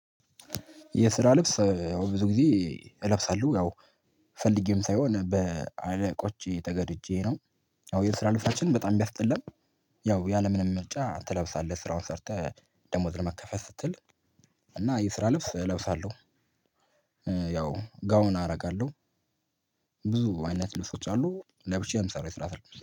የስራ ልብስ ያው ብዙ ጊዜ እለብሳለሁ ያው ፈልጌም ሳይሆን በአለቆቼ ተገድጄ ነው። አዎ የስራ ልብሳችን በጣም ምያስጠላን ያው ያለምንም መርጫ ትለብሳለህ ስራውን ሰርተህ ደሞዝ ለመከፈል ስትል እና የስራ ልብስ እለብሳለሁ። ያው ጋውን አረጋለሁ። ብዙ አይነት ልብሶች አሉ ለብቻዬ የሚሰራ የስራ